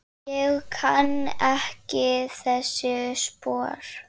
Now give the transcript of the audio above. Ég kann ekki þessi spor.